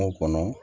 Kungo kɔnɔ